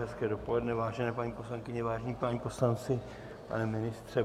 Hezké dopoledne, vážené paní poslankyně, vážení páni poslanci, pane ministře.